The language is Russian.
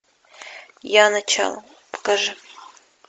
я начало покажи